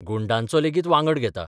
गुंडांचो लेगीत वांगड घेता.